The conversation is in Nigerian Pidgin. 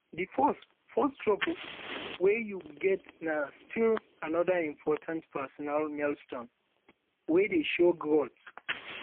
de first first job wey you get na still anoda important um personal milestone wey dey show growth um